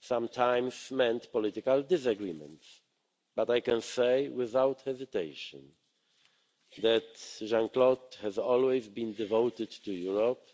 sometimes meant political disagreements. But I can say without hesitation that Jean Claude has always been devoted to Europe